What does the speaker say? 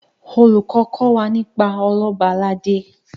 olùkó kò wá nípa Ọlọba aládé